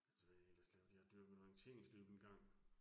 Altså hvad har jeg ellers lavet, jeg har dyrket orienteringsløb engang